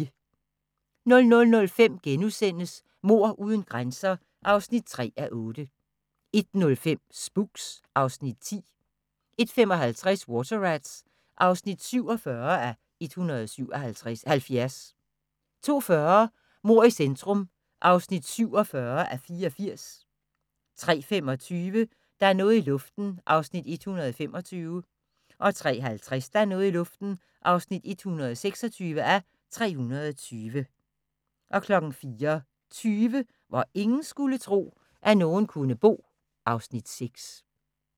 00:05: Mord uden grænser (3:8)* 01:05: Spooks (Afs. 10) 01:55: Water Rats (47:177) 02:40: Mord i centrum (47:84) 03:25: Der er noget i luften (125:320) 03:50: Der er noget i luften (126:320) 04:20: Hvor ingen skulle tro, at nogen kunne bo (Afs. 6)